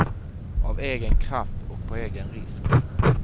Av egen kraft och på egen risk.